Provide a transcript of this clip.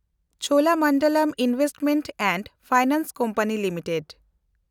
Cholamandalam investment and finance company limited